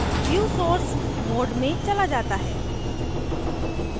view source mode में चला जाता है